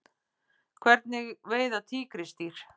Hvernig veiða tígrisdýr?